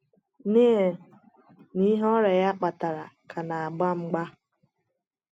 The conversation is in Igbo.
Neil na ihe ọrịa ya kpatara ka na - agba mgba.